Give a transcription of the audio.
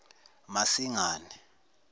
masingane